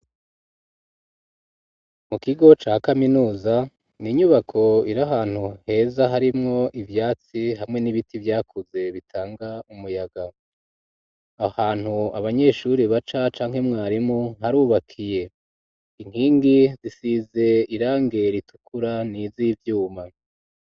Mu kigo ca kaminuza n'inyubako iri ahantu heza harimwo ivyatsi hamwe n'ibiti vyakuze bitanga umuyaga ahantu abanyeshuri baca canke mwarimu harubakiye inkingi zisize irangi ritukura n'izivyuma